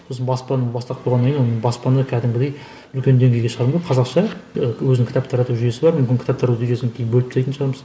сосын баспаның бастап қойғаннан кейін оның баспаны кәдімгідей үлкен деңгейге шығардық қазақша ы өзінің кітап тарату жүйесі бар мүмкін кітап тарату жүйесін кейін бөліп тастайтын шығармыз